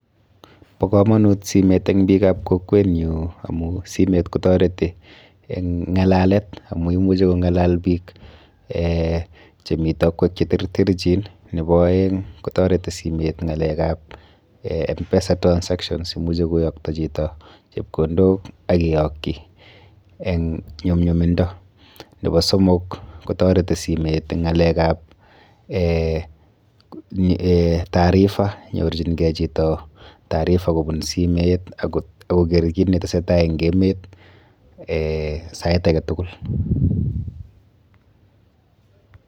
Po komanut simet eng biikap kokwenyu amu simet kotareti eng ng'alalet amu imuchi kong'alal biik eh chemi tokwek cheterterchin. Nepo aeng kotareti simet ng'alekap M-PESA transactions. Imuchi koyokto chito chepkondok ak keyokyi eng nyumnyumindo. Nepo somok kotareti simet eng ng'alekap eh tarifa nyorchinkei chito tarifa kobun simet ak koker kit netesetai eng emet eh sait aketukul.